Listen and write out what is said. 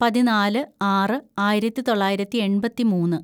പതിനാല് ആറ് ആയിരത്തിതൊള്ളായിരത്തി എണ്‍പത്തിമൂന്ന്‌